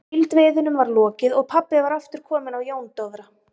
Síldveiðunum var lokið og pabbi var aftur kominn á Jón Dofra.